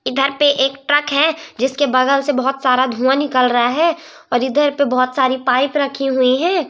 इधर पे एक ट्रक है जिसके बगल से बहुत सारा धुआ निकल रहा है और इधर पे बहोत सारी पाइप रखी हुई हैं।